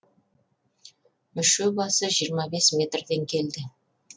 мүше басы жиырма бес метрден келді